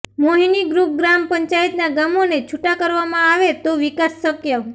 મોહિની group ગ્રામ પંચાયતના ગામોને છૂટા કરવામાં આવે તો વિકાસ શક્ય